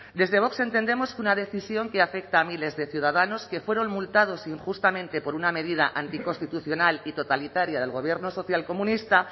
desde vox entendemos que una decisión que afecta a miles de ciudadanos que fueron multados injustamente por una medida anticonstitucional y totalitaria del gobierno social comunista